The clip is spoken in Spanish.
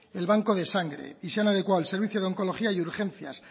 el banco de sangre y se han adecuado el servicio de oncología y urgencias